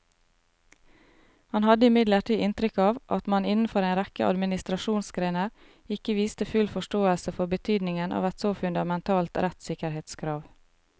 Han hadde imidlertid inntrykk av at man innenfor en rekke administrasjonsgrener ikke viste full forståelse for betydningen av et så fundamentalt rettssikkerhetskrav.